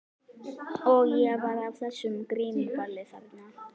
Og ég var á þessu grímuballi þarna.